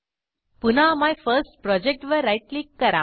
पुन्हा मायफर्स्टप्रोजेक्ट वर right click करा